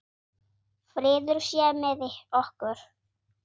Friður sé með okkur.